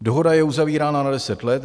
Dohoda je uzavírána na deset let.